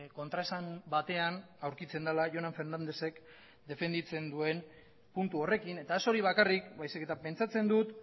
kontraesan batean aurkitzen dela jonan fernandezek defenditzen duen puntu horrekin eta ez hori bakarrik baizik eta pentsatzen dut